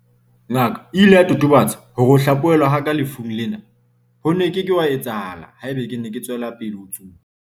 "Ngaka e ile ya totobatsa hore ho hlaphohelwa ha ka lefung lena ho ne ho ke ke hwa etsahala haeba ke ne ke tswela pele ho tsuba."